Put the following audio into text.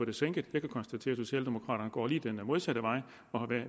det sænket jeg kan konstatere at socialdemokraterne går lige den modsatte vej og